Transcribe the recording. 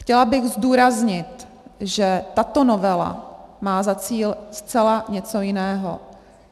Chtěla bych zdůraznit, že tato novela má za cíl zcela něco jiného.